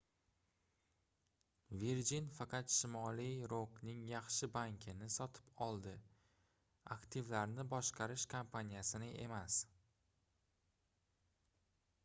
virgin faqat shimoliy rokning yaxshi banki"ni sotib oldi aktivlarni boshqarish kompaniyasini emas